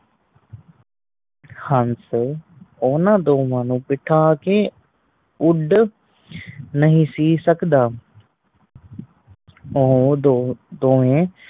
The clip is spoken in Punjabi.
ਹੰਸ ਉਹਨਾ ਦੋਨਾਂ ਨੂੰ ਬੈਠਾ ਕੇ ਉਡ ਨਹੀਂ ਸੀ ਸਕਦਾ ਉਹ ਦੋ ਦੋਵੇ